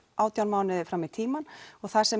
átján mánuði fram í tímann og það sem